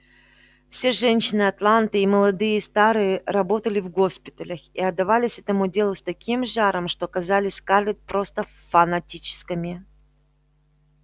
все женщины атланты и молодые и старые работали в госпиталях и отдавались этому делу с таким жаром что казались скарлетт просто фанатичками